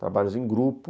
Trabalhos em grupo.